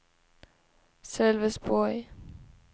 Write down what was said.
Sölvesborg